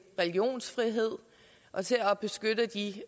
religionsfrihed og til at beskytte de